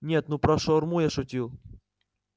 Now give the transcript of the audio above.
нет ну про шаурму я шутил